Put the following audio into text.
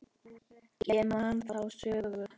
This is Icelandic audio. Ég man þá sögu.